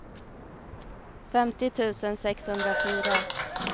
femtio tusen sexhundrafyra